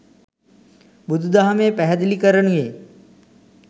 බුදුදහමේ පැහැදිලි කරනුයේ